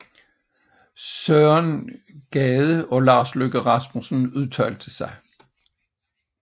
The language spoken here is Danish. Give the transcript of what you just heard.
Søren Gade og Lars Løkke Rasmussen udtalte sig